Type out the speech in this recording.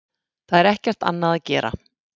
Það er ekkert annað að gera.